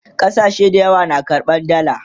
ƙasashe da yawa na karɓan dalla